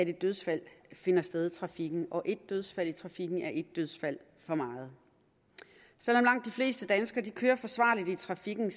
dødsfald finder sted i trafikken og et dødsfald i trafikken er et dødsfald for meget selv om langt de fleste danskere kører forsvarligt i trafikken